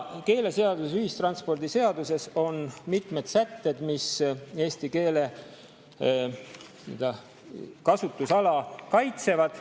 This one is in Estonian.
Keeleseaduse ja ühistranspordiseaduse on mitmed sätted, mis eesti keele kasutusala kaitsevad.